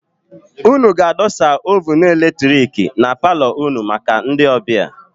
Ụnụ ga-adọsa oovunu eletiriki na paalo ụnụ maka ndị ọbịa.